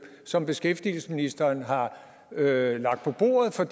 som beskæftigelsesministeren har lagt på bordet for